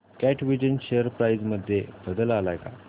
कॅटविजन share price मध्ये बदल आलाय का